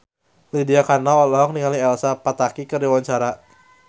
Lydia Kandou olohok ningali Elsa Pataky keur diwawancara